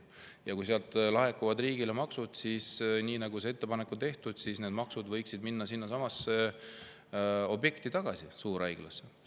Ja kui sealt laekuvad riigile maksud, siis – nagu on tehtud ettepanek – need maksud võiksid minna tagasi sinnasamasse objekti, suurhaiglasse.